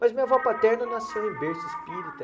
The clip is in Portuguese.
Mas minha avó paterna nasceu em berço espírita.